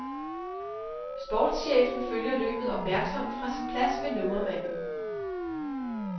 Sportschefen følger løbet opmærksomt fra sin plads ved nummermanden.